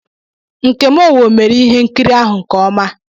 Nkem Owo mere ihe nkiri ahụ nke ọma.